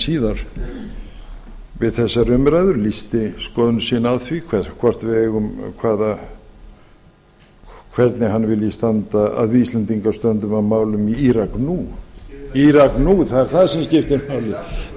síðar við þessar umræður lýsti skoðun sinni á því hvernig hann vilji að við íslendingar stöndum að málum í írak nú það er það sem skiptir máli við þurfum ekki